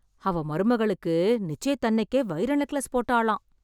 அவ மருமகளுக்கு நிச்சயத்தன்னைக்கே வைர நெக்லஸ் போட்டாளாம்..!